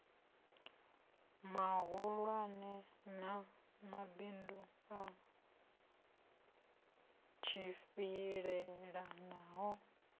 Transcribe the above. mahulwane na mabindu a tshimbilelanaho